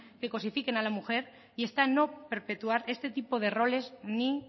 que cosifiquen a la mujer y está en no perpetuar este tipo de roles ni